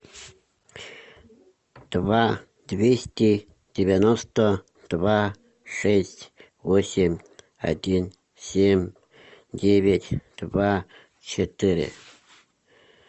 два двести девяносто два шесть восемь один семь девять два четыре